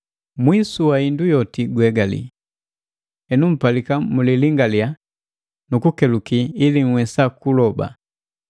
Mwisu wa hindu yoti guhegalii. Henu mpalika mulilingaliya nu kukukeluki ili nhwesa kuloba.